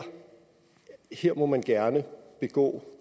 må man gerne begå